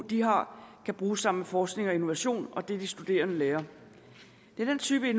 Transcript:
de har kan bruges sammen med forskning og innovation og det som de studerende lærer det er den type